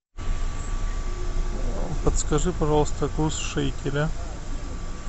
подскажи пожалуйста курс шекеля